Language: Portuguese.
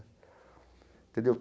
Entendeu?